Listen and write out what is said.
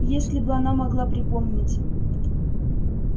если бы она могла припомнить